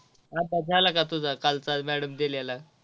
अभ्यास झाला का तुझा कालचा madam न दिलेला.